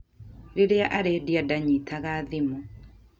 Rĩrĩa arĩndia ndanyitaga thimũ